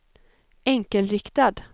enkelriktad